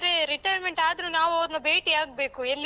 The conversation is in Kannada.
ಹೋಗಿದ್ದಾರೆ, retirement ಆದ್ರೂ ನಾವು ಅವರ್ನ ಭೇಟಿ ಆಗ್ಬೇಕು, ಎಲ್ಲಿ.